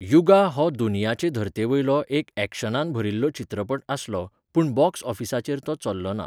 युगा हो दुनियाचे धर्तेवेलो एक यॅक्शनान भरिल्लो चित्रपट आसलो, पूण बॉक्स ऑफिसाचेर तो चल्लोना.